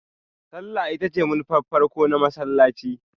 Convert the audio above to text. Sallah ita ce manufar farko na masallaci.